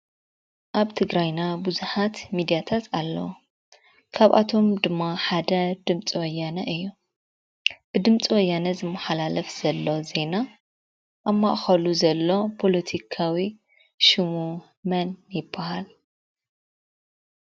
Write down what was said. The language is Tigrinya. ኣብ ትግራይና ብዙሓት ሚድያታት ኣለው፡፡ ካብኣቶም ድማ ሓደ ድምፂ ወያነ እዩ፡፡ ብድምፂ ወያነ ዝመሓላለፍ ዘሎ ዜና ኣብ ማእኸሉ ዘሎ ፖለቲካዊ ሽሙ መን ይባሃል?